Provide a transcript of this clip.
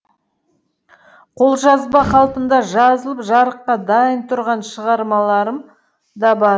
қолжазба қалпында жазылып жарыққа дайын тұрған шығармаларым да бар